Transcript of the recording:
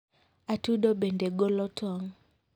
Atudo bende golo tong'.